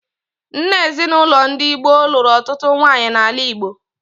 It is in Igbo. Nna ezinaụlọ ndị gboo lụrụ ọtụtụ nwaanyị n'ala Igbo.